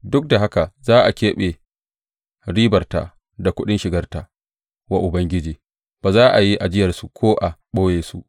Duk da haka za a keɓe ribarta da kuɗin shigarta wa Ubangiji; ba za a yi ajiyarsu ko a ɓoye su.